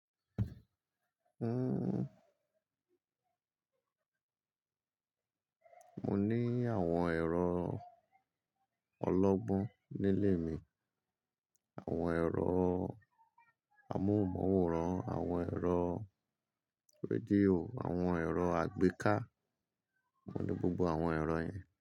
Uhm, mo ní àwọn ẹ̀rọ ọlọ́gbọ́n nílé mi, àwọn ẹ̀rọ amóhùnmáwòrán, àwọn ẹ̀rọ rédíò, àwọn ẹ̀rọ àgbéká. Mo ní gbogbo àwọn ẹ̀rọ yẹn.